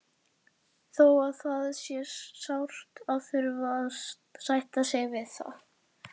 Þó að það sé sárt að þurfa að sætta sig við það.